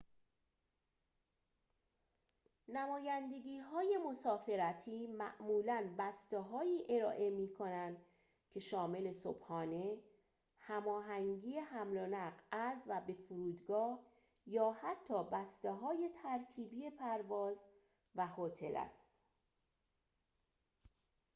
نمایندگی‌های مسافرتی معمولاً بسته‌هایی ارائه می‌کنند که شامل صبحانه، هماهنگی حمل‌و‌نقل از/به فرودگاه یا حتی بسته‌های ترکیبی پرواز و هتل است